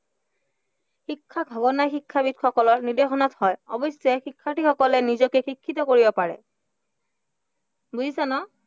বুজিছা ন?